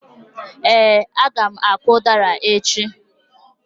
Ee, a ga m akụ udara echi.